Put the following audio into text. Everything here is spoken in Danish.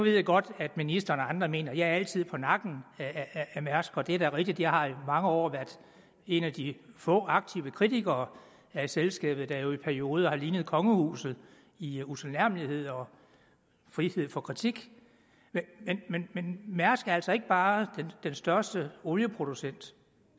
jeg godt at ministeren og andre mener at jeg altid er på nakken af mærsk og det er da rigtigt at jeg i mange år har været en af de få aktive kritikere af selskabet der jo i perioder har lignet kongehuset i utilnærmelighed og frihed for kritik men mærsk er altså ikke bare den største olieproducent